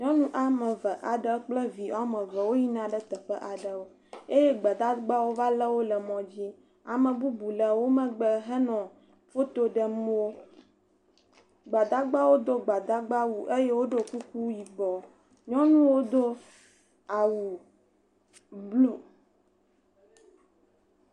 Nyɔnu woame ve aɖe kple vi ame eve woyina ɖe teƒe aɖewo eye gbadawo va lé wo le mɔdzi. Ame bubu le wo megbe hele foto ɖem wo. Gbadawo do gbadagba wu eye woɖo kuku yibɔ. Nyɔnuwo do awu blu.